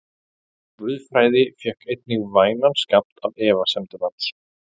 Guðfræði fékk einnig vænan skammt af efasemdum hans.